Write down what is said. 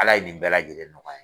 Ala ye nin bɛɛ lajɛlen nɔgɔya